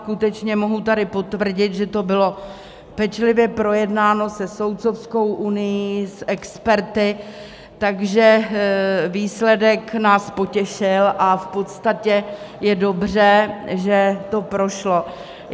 Skutečně mohu tady potvrdit, že to bylo pečlivě projednáno se Soudcovskou unií, s experty, takže výsledek nás potěšil a v podstatě je dobře, že to prošlo.